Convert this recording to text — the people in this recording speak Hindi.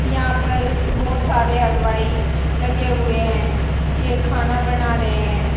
यहां पर बहुत सारे हलवाई लगे हुए हैं ये खाना बना रहे हैं।